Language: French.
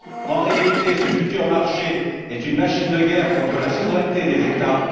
En réalité, ce futur marché est une machine de guerre contre la souveraineté des États.